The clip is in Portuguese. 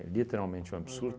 literalmente um absurdo. Aham.